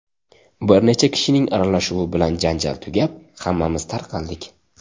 Bir necha kishining aralashuvi bilan janjal tugab, hammamiz tarqaldik.